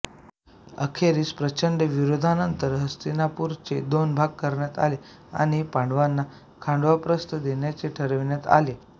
अखेरीस प्रचंड विरोधानंतर हस्तिनापुराचे दोन भाग करण्यात आले व पांडवांना खांडवप्रस्थ देण्याचे ठरविण्यात आले